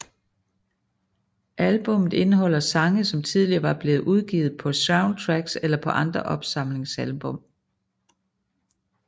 Albummet indeholder sange som tidligere var blevet udgivet på soundtracks eller på andre opsamlingsalbum